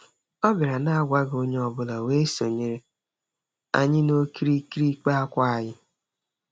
Ọ bịara n'agwaghị onye ọbụla wee sonyere anyi n'okirikiri ịkpa akwa anyị.